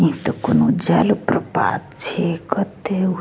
ई त कौनो जल प्रपात छे कते उ --